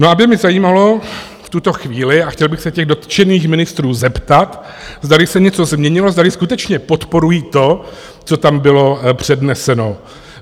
No a mě by zajímalo v tuto chvíli, a chtěl bych se těch dotčených ministrů zeptat, zdali se něco změnilo, zdali skutečně podporují to, co tam bylo předneseno.